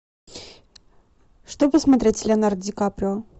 что посмотреть с леонардо ди каприо